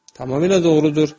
Tamamilə doğrudur.